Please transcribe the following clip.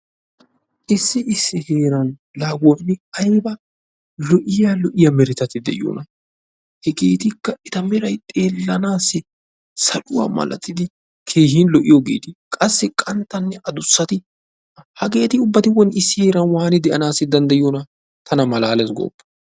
Issi issi heeran la aybba lo"iya lo"iya meretatti de'iyoona! Hegetikka eta meray xeelanassi saluwa malattida keehin lo"iyoogeeta qassi qanttanne addussati hageeti ubbati issi heeran woni waani de'anaw danddayyidona! Tana malaale goopa!